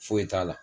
Foyi t'a la